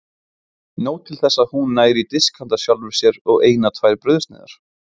Nóg til þess að hún nær í disk handa sjálfri sér og eina tvær brauðsneiðar.